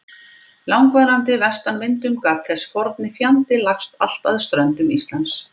langvarandi vestanvindum gat þessi forni fjandi lagst allt að ströndum Íslands.